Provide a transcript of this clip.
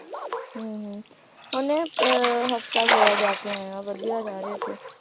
ਉਹਨੇ ਅਹ ਹਫਤਾ ਕ ਹੋਇਆ ਜਾਕੇ ਆਇਆ ਵਧੀਆ ਯਾਰ ਉੱਥੇ